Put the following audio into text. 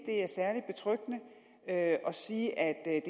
er særlig betryggende at sige at